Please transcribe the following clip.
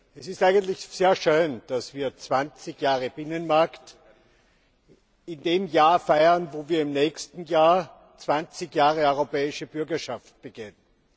Es ist sehr schön, dass wir 20 Jahre Binnenmarkt in diesem Jahr feiern und im nächsten Jahr 20 Jahre Europäische Bürgerschaft begehen.